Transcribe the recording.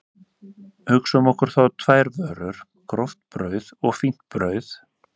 Hugsum okkur þá tvær vörur, gróft brauð og fínt brauð.